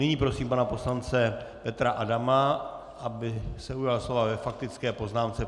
Nyní prosím pana poslance Petra Adama, aby se ujal slova ve faktické poznámce.